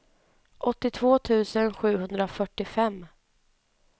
åttiotvå tusen sjuhundrafyrtiofem